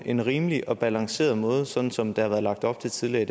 en rimelig og balanceret måde sådan som der har været lagt op til tidligere